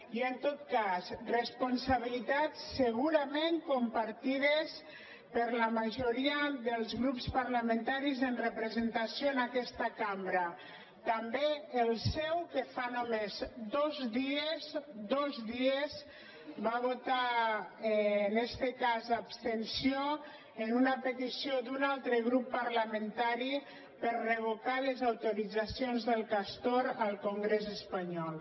i en tot cas responsabilitats segurament compartides per la majoria dels grups parlamentaris amb representació en aquesta cambra també el seu que fa només dos dies dos dies va votar en este cas abstenció en una petició d’un altre grup parlamentari per revocar les autoritzacions del castor al congrés espanyol